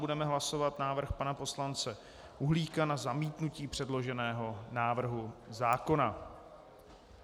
Budeme hlasovat návrh pana poslance Uhlíka na zamítnutí předloženého návrhu zákona.